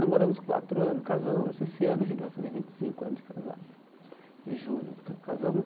Namoramos quatro anos, casamos, esse ano a gente vai fazer casados anos de casado em julho ca casamo.